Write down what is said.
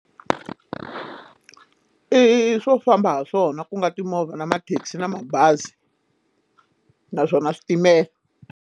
I swo famba ha swona ku nga timovha na mathekisi na mabazi naswona switimela.